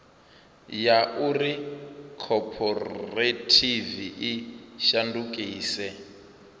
ya uri khophorethivi i shandukise